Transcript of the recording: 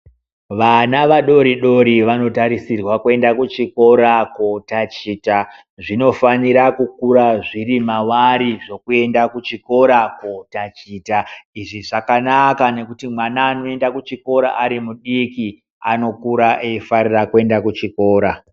Vana vadodori vanotarisirwa kuenda kuchikora kotaticha zvinofanira kukura zviri mavari zvekuenda kuchikora kotaticha izvi zvakanaka ngekuti mwana anoenda kuchikora Ari mudiki ano kura eifarira kuenda kuchikora.